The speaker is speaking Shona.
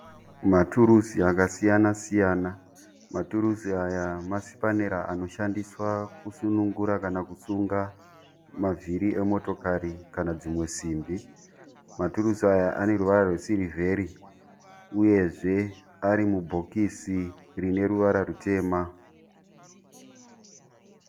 Maturusi akasiyana-siyana. Maturusi aya masipanera anoshandiswa kusunga kana kusunungura mavhiri emotokari kana dzimwe simbi. Maturusi aya aneruvara rwesirivheri uyezve ari mubhokisi rineruvara rwutema.